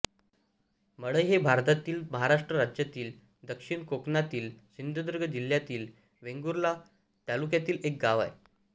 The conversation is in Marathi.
मळई हे भारतातील महाराष्ट्र राज्यातील दक्षिण कोकणातील सिंधुदुर्ग जिल्ह्यातील वेंगुर्ला तालुक्यातील एक गाव आहे